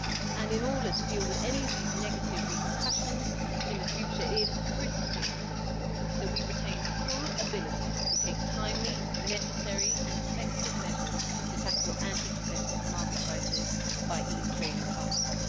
And in order to deal with any of these negative repercussions in the future, it is critically important that we retain full ability to take timely, necessary and effective measures to tackle anti competitive market prices by EU trading partners.